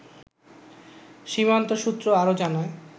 সীমান্ত সূত্র আরো জানায়